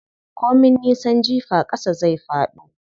Ko min nisan jifa ƙasa zai faɗo.